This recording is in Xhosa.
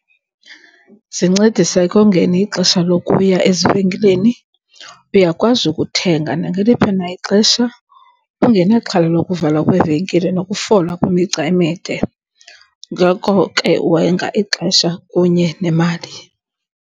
Zincedisa ekongeni ixesha lokuya ezivenkileni. Uyakwazi ukuthenga nangeliphi na ixesha ungenaxhala lokuvalwa kweevenkile nokufola kwimigca emide. Ngoko ke, wenga ixesha kunye nemali.